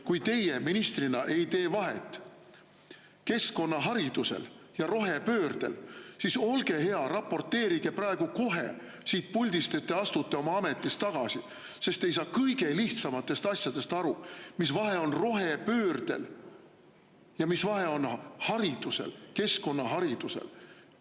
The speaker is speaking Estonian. Kui teie ministrina ei tee vahet keskkonnaharidusel ja rohepöördel, siis olge hea, raporteerige praegu kohe siit puldist, et te astute ametist tagasi, sest te ei saa kõige lihtsamatest asjadest aru: mis vahe on rohepöördel ja keskkonnaharidusel.